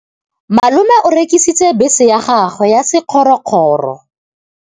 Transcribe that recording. Malome o rekisitse bese ya gagwe ya sekgorokgoro.